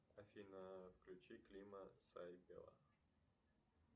афина включи клима сайбела